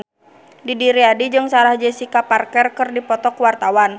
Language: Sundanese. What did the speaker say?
Didi Riyadi jeung Sarah Jessica Parker keur dipoto ku wartawan